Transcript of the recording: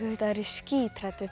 vita þá er ég skíthrædd við